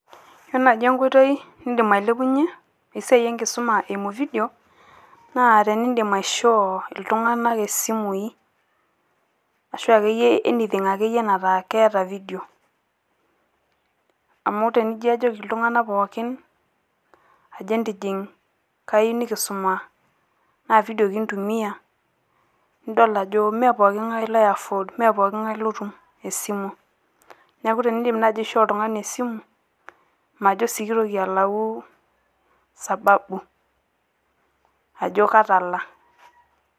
Yiolo naaji enkoitoi nidim ailepunyie esiai e nkisuma eimu video. Naa tenidim aisho iltung`ana simui ashu akeyie anything nataa keeta video. Amu tenijo ajoki iltung`anak pookin entijing, kayieu nikisuma naa video kintumia nidol ajo mme poki ng`ae lo afford, mme poki ng`ae otum esimu. Niaku tenidip naaji aishoo pooki ng`ae esimu, majo sii kitoki alau sababu ajo katala.